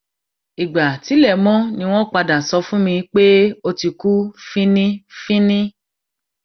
ìgbà tílẹ mọ ni wọn padà sọ fún mi pé ó ti kú finínfínín